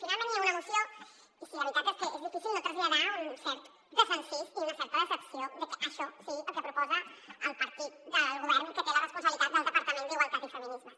finalment hi ha una moció i la veritat és que és difícil no traslladar un cert desencís i una certa decepció de que això sigui el que proposa el partit del govern que té la responsabilitat del departament d’igualtat i feminismes